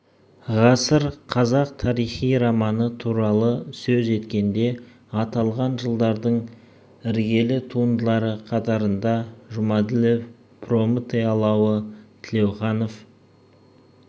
ғасыр қазақ тарихи романы туралы сөз еткенде аталған жылдардың іргелі туындылары қатарында жұмаділов прометей алауы тілеуханов